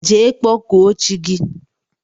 Jee kpọkụọ chi gi!!